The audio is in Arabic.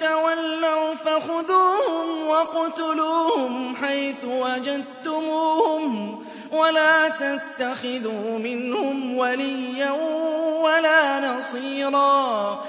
تَوَلَّوْا فَخُذُوهُمْ وَاقْتُلُوهُمْ حَيْثُ وَجَدتُّمُوهُمْ ۖ وَلَا تَتَّخِذُوا مِنْهُمْ وَلِيًّا وَلَا نَصِيرًا